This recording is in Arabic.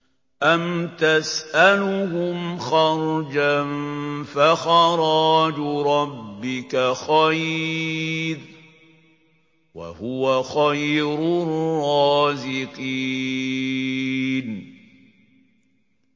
أَمْ تَسْأَلُهُمْ خَرْجًا فَخَرَاجُ رَبِّكَ خَيْرٌ ۖ وَهُوَ خَيْرُ الرَّازِقِينَ